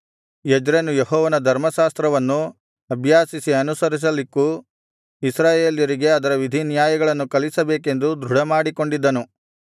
ಎಜ್ರನು ಯೆಹೋವನ ಧರ್ಮಶಾಸ್ತ್ರವನ್ನು ಅಭ್ಯಾಸಿಸಿ ಅನುಸರಿಸಲಿಕ್ಕೂ ಇಸ್ರಾಯೇಲರಿಗೆ ಅದರ ವಿಧಿನ್ಯಾಯಗಳನ್ನು ಕಲಿಸಬೇಕೆಂದು ದೃಢಮಾಡಿಕೊಂಡಿದ್ದನು